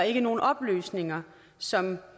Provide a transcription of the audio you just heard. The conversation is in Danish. ikke nogen oplysninger som